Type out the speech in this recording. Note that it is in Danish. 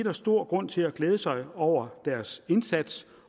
er stor grund til at glæde sig over deres indsats